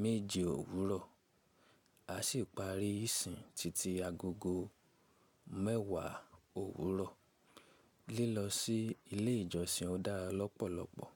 méje òwúrọ̀ a sì parí ìsìn títí agogo mẹ́wàá òwúrọ̀. Lílọ sí ilé ìjọsìn dára lọ́pọ̀lọpọ̀.